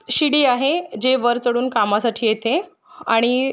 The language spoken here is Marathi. शिडी आहे जे वर चढून कामासाठी येते आणि--